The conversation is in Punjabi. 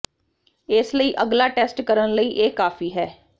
ਇਸ ਲਈ ਅਗਲਾ ਟੈਸਟ ਕਰਨ ਲਈ ਇਹ ਕਾਫੀ ਹੈ